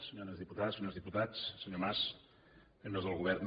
senyores diputades senyors diputats senyor mas membres del govern